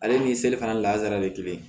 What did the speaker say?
Ale ni seli fana lasara ye kelen ye